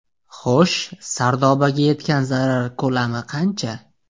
Xo‘sh , Sardobada yetgan zarar ko‘lami qancha ?